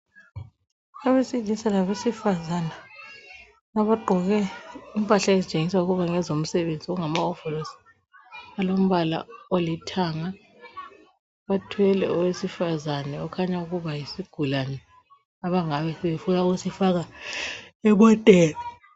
Abesilisa labesifazana abagqoke impahla ezitshengisa ukuba ngezomsebenzi . Okungama hovolosi alombala olithanga, bathwele owesifazana okhanya ukuba yisigulane, abangabe befuna ukusifaka emoteni.